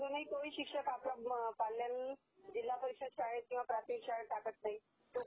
कोणी कोणी शिक्षक आपल्या पाल्यला जिव्हा परीषदेच्या शाळेत किंवा प्राथमिक शाळेत टाकत नाही